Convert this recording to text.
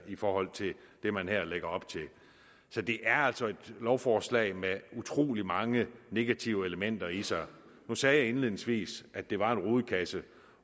i forhold til det man her lægger op til så det er altså et lovforslag med utrolig mange negative elementer i sig jeg sagde indledningsvis at det var en rodekasse